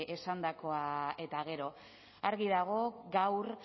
esandakoa eta gero argi dago gaur